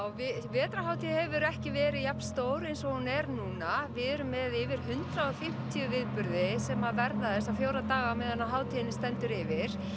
vetrarhátíð hefur ekki verið jafnstór eins og hún er núna við erum með yfir hundrað og fimmtíu viðburði sem verða þessa fjóra daga meðan hátíðin stendur yfir